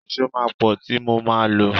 Ìṣó máa pọ tí mo máa lo.